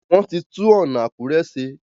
Wón tí tun ọna Akure ṣe.